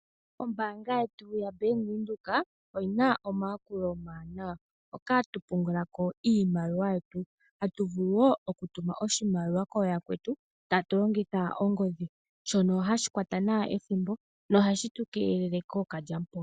Ombaanga yetu yaBank Windhoek oyi na omayakulo omawanawa hoka hatu pungula ko iimaliwa yetu. Hatu vulu wo okutuma oshimaliwa kooyakwetu tatu longitha ongodhi shono hashi kwata nawa ethimbo nohashi tu keelele kookalyamupombo.